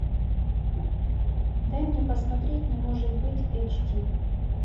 дай мне посмотреть не может быть эйч ди